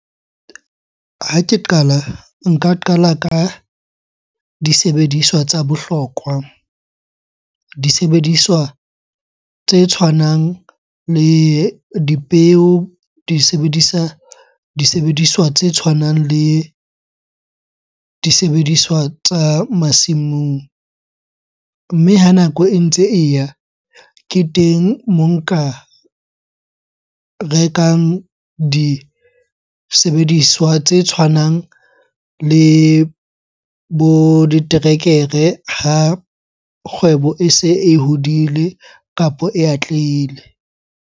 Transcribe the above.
Ha ke qala, nka qala ka disebediswa tsa bohlokwa. Disebediswa tse tshwanang le dipeo, di sebedisa, disebediswa tse tshwanang le disebediswa tsa masimong. Mme ha nako e ntse e ya, ke teng moo nka rekang disebediswa tse tshwanang le bo diterekere ha kgwebo ese e hodile kapo e atlehile.